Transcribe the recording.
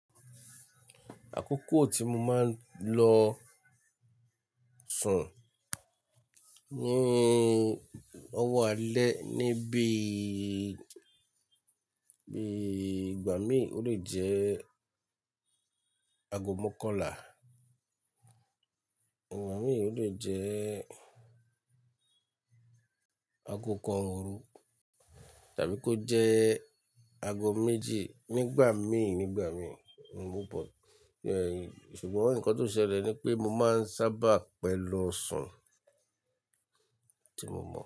Àkókò tí mo máa ń lọ sùn ní ọwọ́ alẹ́ níbi i bí i ìgbà mí, ó lè jẹ́ ago mókànlá, ìgbà mí ò lè jẹ́ ago kan òru tàbí kó jẹ́ ago méjì nígbà mí, nígbà mí, mo pọ̀. Ehn Ṣùgbọ́n nǹkan tó ṣẹlẹ̀ ni pé mo máa ń sábà pẹ̀lo sun tí mo mọ̀